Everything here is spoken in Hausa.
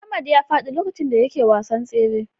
Ahmad ya faɗi lokacin da yake wasan tsere.